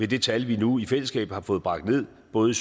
det tal vi nu i fællesskab har fået bragt ned både i